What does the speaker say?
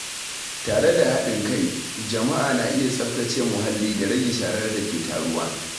Tare da haɗin kai, jama’a na iya tsaftace muhalli da rage sharar da ke taruwa.